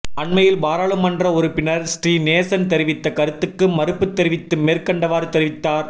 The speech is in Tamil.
அண்மையில் பாராளுமன்ற உறுப்பினர் ஸ்ரீநேசன் தெரிவித்த கருத்துக்கு மறுப்புத்தெரிவித்து மேற்கண்டவாறு தெரிவித்தார்